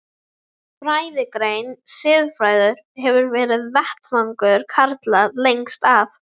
Fræðigreinin siðfræði hefur verið vettvangur karla lengst af.